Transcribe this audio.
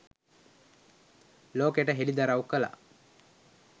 ලෝකෙට හෙළිදරව් කළා.